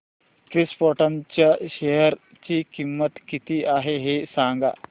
krypton च्या share ची किंमत किती आहे हे सांगा